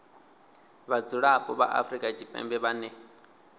vhadzulapo vha afrika tshipembe vhane